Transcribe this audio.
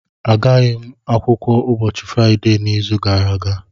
Agaghị m akwụkwọ ụbọchị Fraịde n'izu gara aga